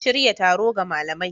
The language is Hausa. Shirya taro ga malamai.